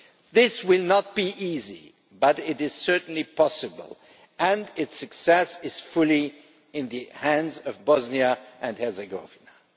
This will not be easy, but it is certainly possible, and its success is fully in the hands of Bosnia and Herzegovina.